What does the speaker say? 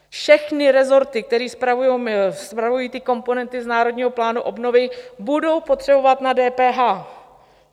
Všechny resorty, které spravují ty komponenty z Národního plánu obnovy, budou potřebovat na DPH.